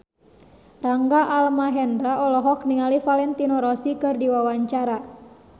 Rangga Almahendra olohok ningali Valentino Rossi keur diwawancara